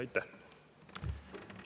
Aitäh!